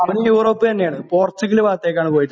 അവനും യൂറോപ്പ് തന്നെ ആണ് പോർച്ചുഗൽ ഭാഗത്തേക്കാണ് പോയിട്ടുള്ളത്